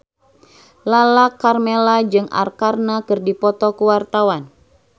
Lala Karmela jeung Arkarna keur dipoto ku wartawan